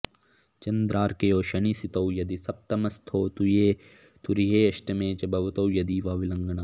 चन्द्रार्कयोः शनिसितौ यदि सप्तमस्थौ तुर्येऽष्टमे च भवतो यदि वा विलग्नात्